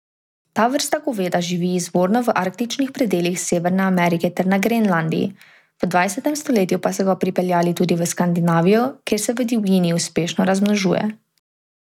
Ta vrsta goveda živi izvorno v arktičnih predelih Severne Amerike ter na Grenlandiji, v dvajsetem stoletju pa so ga pripeljali tudi v Skandinavijo, kjer se v divjini uspešno razmnožuje.